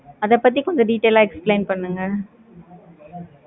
அத பத்தி கொஞ்சம் details ஆஹ் explain பண்ணுங்க.